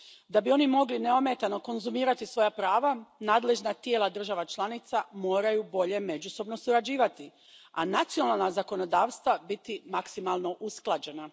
Da bi oni mogli neometano konzumirati svoja prava, nadležna tijela država članica moraju bolje međusobno surađivati, a nacionalna zakonodavstva biti maksimalno usklađena.